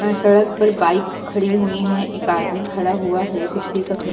यहां सड़क पर बाइक खड़ी हुई हैं। एक आदमी खड़ा हुआ है। बिजली का खंबा --